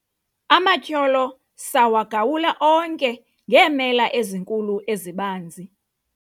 amatyholo sawagawula onke ngeemela ezinkulu ezibanzi